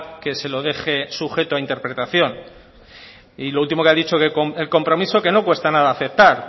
que se lo deje sujeto a interpretación y lo último que ha dicho que el compromiso que no cuesta nada aceptar